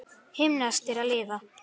Himneskt er að lifa.